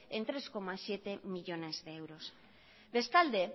en tres siete millónes de euros bestalde